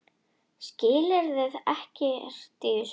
Skilur ekkert í þessu.